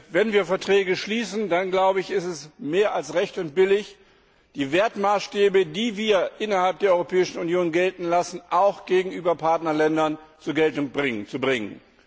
Wenn wir Verträge schließen, dann ist es mehr als recht und billig, die Wertmaßstäbe, die wir innerhalb der Europäischen Union gelten lassen, auch gegenüber Partnerländern zur Geltung zu bringen.